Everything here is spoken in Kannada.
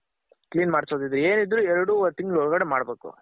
clean ಮಾಡ್ಸೋದಿದ್ರೆ ಏನಿದ್ರು ಎರಡ್ವರ್ ತಿಂಗಳ್ ಒಳ್ಗಡೆ ಮಾಡ್ಬೇಕು.